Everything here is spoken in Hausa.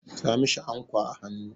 Sa mishi ankwa a hannu!